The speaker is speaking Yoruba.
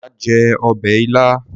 Máa jẹ ọbẹ̀ ilá.